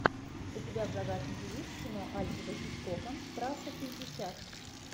у тебя в загашнике есть кино альфреда хичкока трасса шестьдесят